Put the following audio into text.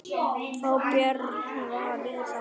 Fá Björn Val í það?